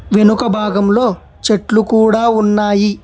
వెనుక భాగంలో చెట్లు కూడా ఉన్నాయి.